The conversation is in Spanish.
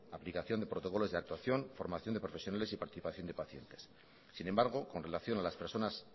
aplicación de protocolos de actuación formación de profesionales y participación de pacientes sin embargo con relación a las personas